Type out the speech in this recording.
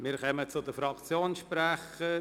Wir kommen zu den Fraktionssprechern.